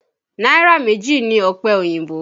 Náírà méjì ni ọ̀pẹ oyìnbó